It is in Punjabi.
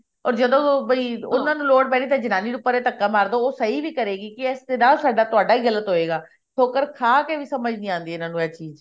ਤੇ ਜਦੋਂ ਬਈ ਉਹਨਾ ਨੂੰ ਲੋੜ ਪੈਣੀ ਤੇ ਜਨਾਨੀ ਨੂੰ ਪਰਾਂ ਧੱਕਾ ਮਰਦੋ ਉਹ ਸਹੀ ਵੀ ਕਰੇਗੀ ਕੀ ਇਸਦੇ ਨਾਲ ਤੁਹਾਡਾ ਹੀ ਗਲਤ ਹੋਵੇਗਾ ਠੋਕਰ ਖਾ ਕੇ ਵੀ ਸਮਝ ਨੀ ਆਉਂਦੀ ਇਹ ਚੀਜ਼